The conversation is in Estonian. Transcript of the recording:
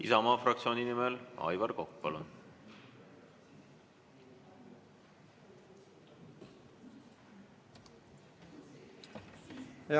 Isamaa fraktsiooni nimel Aivar Kokk, palun!